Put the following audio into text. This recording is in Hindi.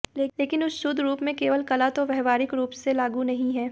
लेकिन उस शुद्ध रूप में केवल कला तो व्यावहारिक रूप से लागू नहीं है